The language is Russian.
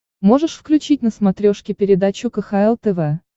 можешь включить на смотрешке передачу кхл тв